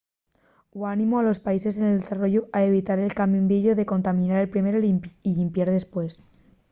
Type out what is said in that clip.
hu animó a los países en desarrollu a evitar el camín vieyu de contaminar primero y llimpiar dempués.